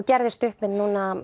gerði stuttmynd